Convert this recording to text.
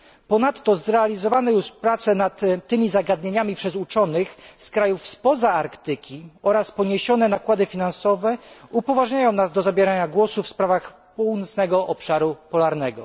Ponadto zrealizowane już prace nad tymi zagadnieniami przez uczonych z krajów spoza Arktyki oraz poniesione nakłady finansowe upoważniają nas do zabierania głosu w sprawach północnego obszaru polarnego.